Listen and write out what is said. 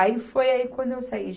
Aí foi aí quando eu saí.